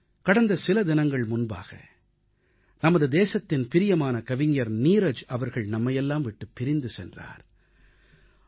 கடந்த சில தினங்கள் முன்பாக நமது தேசத்தின் பிரியமான கவிஞர் நீரஜ் அவர்கள் நம்மையெல்லாம் விட்டுப் பிரிந்து சென்றார்